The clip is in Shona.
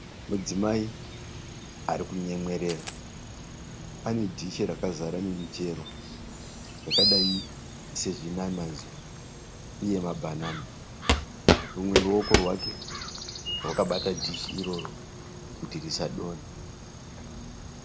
Mudzimai ari kunyemwerera. Ane dishi rakazara nemichero yakadai sezvinanazi uye mabhanana Rumwe ruoko rwake rwakabata dishi iroro kuti risadonha.